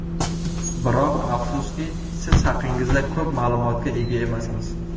Biroq, afsuski, siz haqingizda ko‘p ma’lumotga ega emasmiz.